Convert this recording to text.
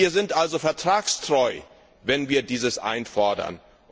Wir sind also vertragstreu, wenn wir dieses einfordern.